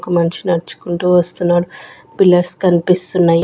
ఒక మనిషి నడుచుకుంటూ వస్తున్నాడు పిల్లర్స్ కనిపిస్తున్నాయి.